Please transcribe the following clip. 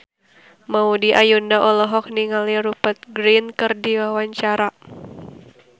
Maudy Ayunda olohok ningali Rupert Grin keur diwawancara